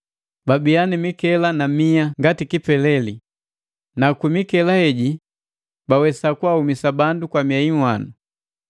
Babia ni mikela na mia ngati kipeleli, na kwi mikela heji bawesa kwaaumisa bandu kwa miei nhwanu.